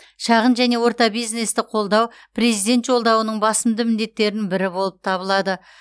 шағын және орта бизнесті қолдау президент жолдауының басымды міндеттердің бірі болып табылады